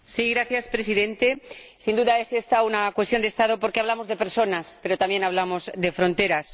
Señor Presidente, sin duda es esta una cuestión de Estado porque hablamos de personas, pero también hablamos de fronteras.